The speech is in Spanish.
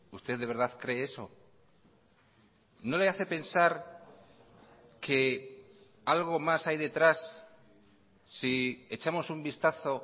usted de verdad cree eso no le hace pensar que algo más hay detrás si echamos un vistazo